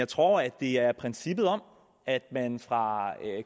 tror at det er princippet om at man fra